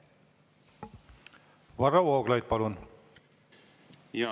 Varro Vooglaid, palun!